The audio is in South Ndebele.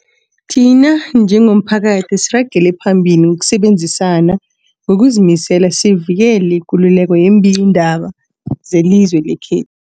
Thina njengomphakathi, asiragele phambili ngokusebenzisana ngokuzimisela sivikele ikululeko yeembikiindaba zelizwe lekhe